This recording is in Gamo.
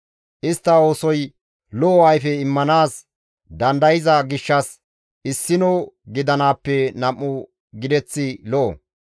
Istta oosoy lo7o ayfe immanaas dandayza gishshas issino gidanaappe nam7u gideththi lo7o.